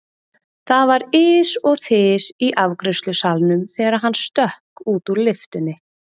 Það var ys og þys í afgreiðslusalnum þegar hann stökk út úr lyftunni.